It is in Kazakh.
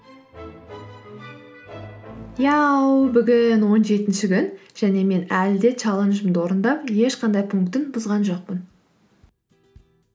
иә бүгін он жетінші күн және мен әлі де чаленджімді орындап ешқандай пунктін бұзған жоқпын